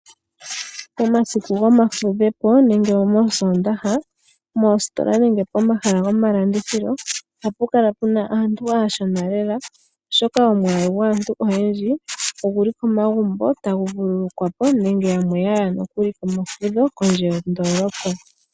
Momasiku gomafudhepo nenge moOsoondaha, moositola nenge pomahala gomalandithilo oha pu kala pu na aantu aashona lela oshoka omwaalu gwaantu oyendji oguli komagumbo tagu vululukwa po nenge yamwe ya ya nokuli komafudho kondje yondoolopa.